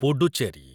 Puducherry